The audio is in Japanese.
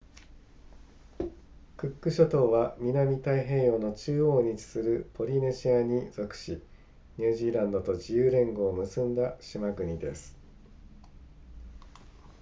クック諸島は南太平洋の中央に位置するポリネシアに属しニュージーランドと自由連合を結んだ島国です